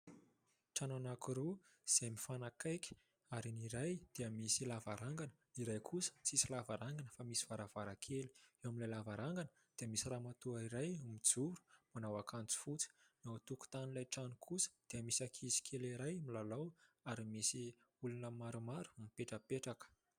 Trano anankiroa izay mifanakaiky, ary ny iray dia misy lavarangana, ny iray kosa tsisy lavarangana fa misy varavarankely. Eo amin'ilay lavarangana dia misy ramatoa iray mijoro manao akanjo fotsy. Eo an-tokotanin'ilay trano kosa dia misy ankizy kely iray milalao ary misy olona maromaro mipetrapetraka.